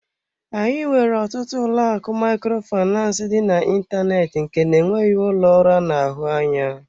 Anyị nwere ọtụtụ ụlọ akụ Microfinance dị n'ịntanetị nke na-enweghị ụlọ ọrụ anụ ahụ anya.